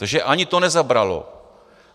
Takže ani to nezabralo.